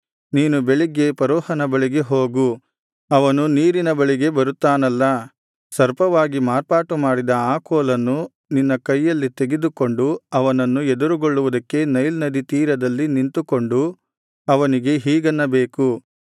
ನೀನು ಬೆಳಿಗ್ಗೆ ಫರೋಹನ ಬಳಿಗೆ ಹೋಗು ಅವನು ನೀರಿನ ಬಳಿಗೆ ಇಳಿದು ಬರುತ್ತಾನಲ್ಲಾ ಸರ್ಪವಾಗಿ ಮಾರ್ಪಾಟುಮಾಡಿದ ಆ ಕೋಲನ್ನು ನಿನ್ನ ಕೈಯಲ್ಲಿ ತೆಗೆದುಕೊಂಡು ಅವನನ್ನು ಎದುರುಗೊಳ್ಳುವುದಕ್ಕೆ ನೈಲ್ ನದಿ ತೀರದಲ್ಲಿ ನಿಂತುಕೊಂಡು ಅವನಿಗೆ ಹೀಗನ್ನಬೇಕು